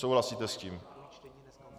Souhlasíte s tím?